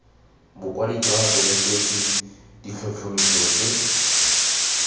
bokwadi jwa bonetetshi ditlhotlhomiso tse